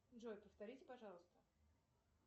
джой повторите пожалуйста